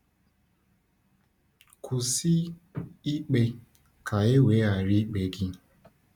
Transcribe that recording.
“Kwụsị um ikpe, ka e wee ghara ikpe gị.”